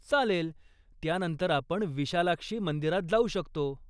चालेल, त्यानंतर आपण विशालाक्षी मंदिरात जाऊ शकतो.